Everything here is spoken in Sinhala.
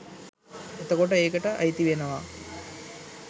එතකොට ඒකට අයිතිවෙනවා